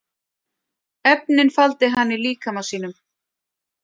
Efnin faldi hann í líkama sínum